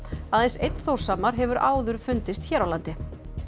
aðeins einn Þórshamar hefur áður fundist hér á landi